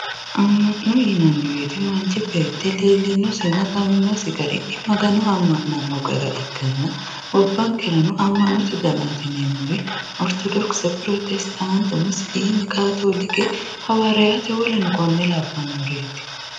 Ama'no yinanni woyte manchi beetti leelinosinna xawinosi garinni Magano amanano gara ikkanna gobbankerano ama'note danati yineemmori orthodokise, prostetate, Musilime, katolike hawaariyate woleno kuri labbanoreti.